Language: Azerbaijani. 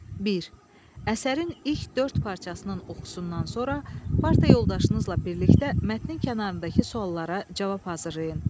Bir. Əsərin ilk dörd parçasının oxusundan sonra parta yoldaşınızla birlikdə mətnin kənarındakı suallara cavab hazırlayın.